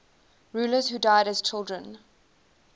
rulers who died as children